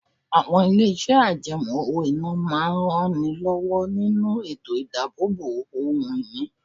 Àwọn ilé iṣẹ́ àjẹmó owó-ìná máa ń ran ni lówó nínú ètò idabobo ohun ìní.